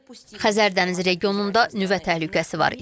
Xəzər dənizi regionunda nüvə təhlükəsi var.